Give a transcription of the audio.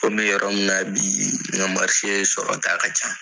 N bɛ yɔrɔ min na bi n ka sɔrɔta ka ca.